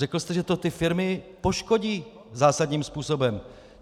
Řekl jste, že to ty firmy poškodí zásadním způsobem.